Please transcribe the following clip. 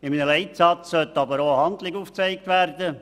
In einem Leitsatz sollte auch eine Handlung aufgezeigt werden.